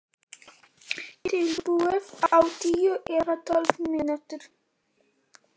Tilbúið á tíu eða tólf mínútum.